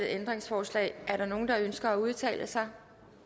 ændringsforslag er der nogen der ønsker at udtale sig